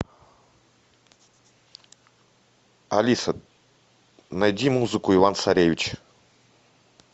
алиса найди музыку иван царевич